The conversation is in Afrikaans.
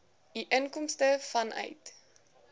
u inkomste vanuit